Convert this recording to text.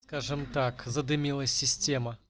скажем так задымила система